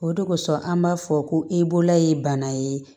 O de kosɔn an b'a fɔ ko i bolola ye bana ye